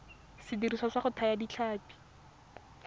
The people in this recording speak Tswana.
sediriswa sa go thaya ditlhapi